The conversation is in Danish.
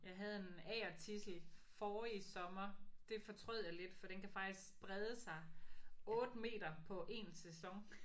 Jeg havde en agertidsel forrige sommer. Det fortrød jeg lidt for den kan faktisk brede sig 8 meter på én sæson